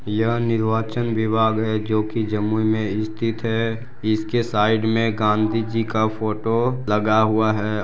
यह निर्वाचन विभाग है जो कि जम्मू मे स्थित है इसके साइड मे गांधीजी का फोटो लगा हुआ है।